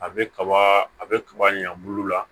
A bɛ kaba a bɛ kaba ɲɛn bulu la